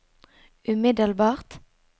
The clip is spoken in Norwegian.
umiddelbart